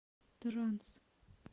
транс